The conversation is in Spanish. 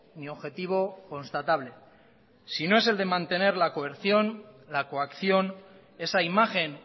ni objetivo constatable si no es la de mantener la coerción la coacción esa imagen